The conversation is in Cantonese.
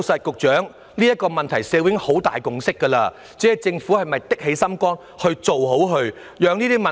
局長，社會已就此問題達成很大共識，只要政府果斷作出決定，便能處理種種問題。